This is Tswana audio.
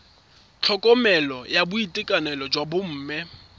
tlhokomelo ya boitekanelo jwa bomme